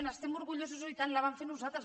n’estem orgullosos oi tant la vam fer nosaltres